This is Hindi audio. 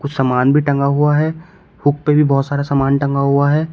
कुछ समान भी टंगा हुआ है हुक पे भी बहोत सारा समान टंगा हुआ है।